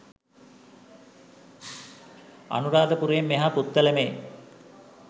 අනුරාධපුරයෙන් මෙහා පුත්තලමේ